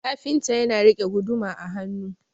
kafinta yana rike guduma a hannu